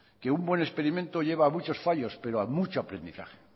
que un buen experimento lleva a muchos fallos pero a mucho aprendizaje